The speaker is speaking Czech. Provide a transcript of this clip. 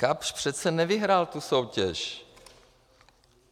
Kapsch přece nevyhrál tu soutěž.